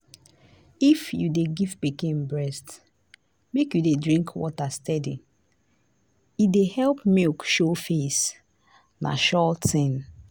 if you dey give pikin breast make u dey drink water steady. e dey help milk show face. na sure thing.